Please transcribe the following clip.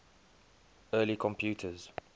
early computers